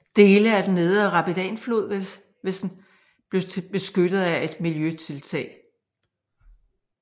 Dele af den nedre Rapidanflod vil svar blive beskyttet af et miljøtiltag